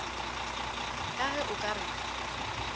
ka ge o ka re